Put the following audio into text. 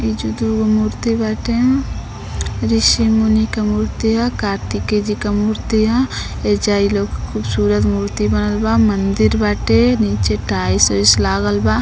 एईजु दुगो मूर्ति बाटे। ऋषि-मुनि क मूर्ति ह। कार्तिकेय जी क मूर्ति ह। एईजा ई लोग खूबसूरत मूर्ति बनल बा। मंदिर बाटे। नीचे टाइल्स ऑइल्स लागल बा।